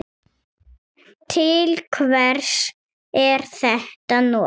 Til hvers er þetta notað?